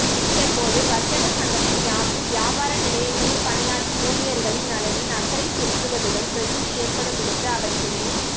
இதன் போது வர்த்தக சங்கத்தின் யாப்பில் வியாபார நிலையங்களில் பணியாற்றும் ஊழியர்களின் நலனில் அக்கறை செலுத்துவதுடன் பிரச்சனை ஏற்படுமிடத்து அவற்றினை